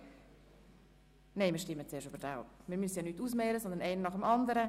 Sie haben diesen Antrag abgelehnt mit 88 Nein- gegen 60 Ja-Stimmen bei 1 Enthaltung.